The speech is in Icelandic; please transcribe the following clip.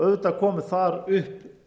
auðvitað komu þar upp